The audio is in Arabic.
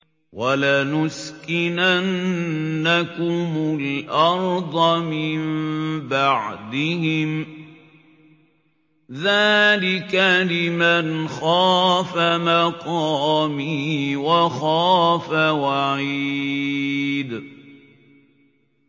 وَلَنُسْكِنَنَّكُمُ الْأَرْضَ مِن بَعْدِهِمْ ۚ ذَٰلِكَ لِمَنْ خَافَ مَقَامِي وَخَافَ وَعِيدِ